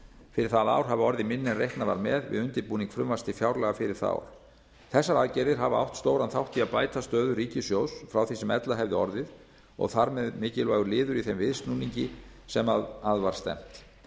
fyrir það ár hafi orðið minni en reiknað var með við undirbúning frumvarps til fjárlaga fyrir það ár þessar aðgerðir hafa átt stóran þátt í að bæta stöðu ríkissjóðs frá því sem ella hefði orðið og þar með mikilvægur liður í þeim viðsnúningi sem að var stefnt